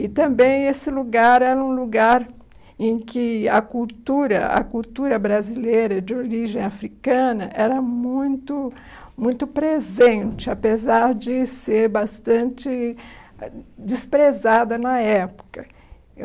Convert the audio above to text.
E também esse lugar era um lugar em que a cultura a cultura brasileira de origem africana era muito muito presente, apesar de ser bastante desprezada na época.